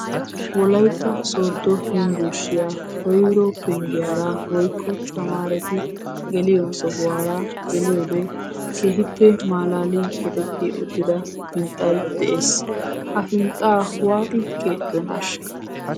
Wolaytta sooddo yunbburshiya koyro penggiyara woykko tamaareti geliyo sohuwara geliyode keehippe malaaliya keexetti uttida hinxxay de'ees. Ha hinxxaa waati keexxidonaashsha?